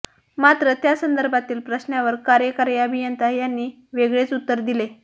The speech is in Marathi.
मात्र त्यासंदर्भातील प्रश्नावर कार्यकारी अभियंता यांनी वेगळेच उत्तर दिले